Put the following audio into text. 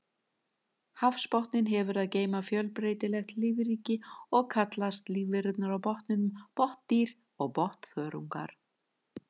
Hafsbotninn hefur að geyma fjölbreytilegt lífríki og kallast lífverurnar á botninum botndýr og botnþörungar.